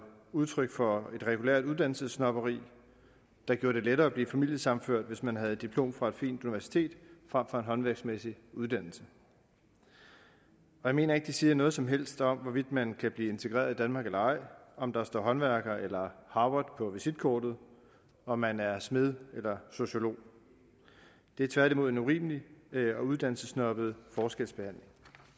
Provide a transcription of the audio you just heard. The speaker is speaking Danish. udtryk for et regulært uddannelsessnobberi der gjorde det lettere at blive familiesammenført hvis man havde et diplom fra et fint universitet frem for en håndværksmæssig uddannelse jeg mener ikke det siger noget som helst om hvorvidt man kan blive integreret i danmark eller ej om der står håndværker eller harvard på visitkortet om man er smed eller sociolog det er tværtimod en urimelig og uddannelsessnobbet forskelsbehandling